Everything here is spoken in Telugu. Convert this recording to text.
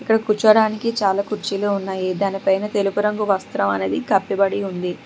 ఇక్కడ కూర్చోడానికి చాలా కుర్చీలు ఉన్నాయి దానిపైన తెలుపు రంగు వస్త్రం అనేది కప్పిబడి ఉంది.